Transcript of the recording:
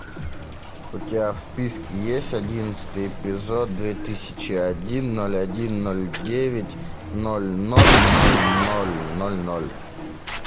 у тебя в списке есть одиннадцатый эпизод две тысячи один ноль один ноль девять ноль ноль ноль ноль ноль ноль